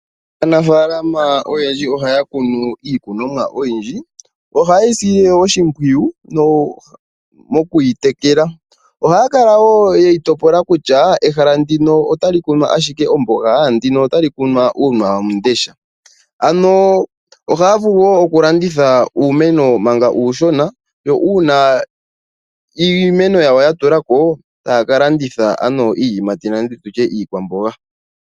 Aanafaalama oyendji ohaya kunu iikunomwa oyindji, ohaye yi sile oshimpwiyu mokuyitekela. Ohaya kala wo yeyi topola kutya ehala ndino otali kunwa ashike omboga, lyo ehala ndino otali kunwa uuna wamundesha . Ohaya vulu wo okulanditha uumeno manga uushona nuuna iimeno yawo ya tulako taya ka landitha ano iiyimati nenge iikwamboga.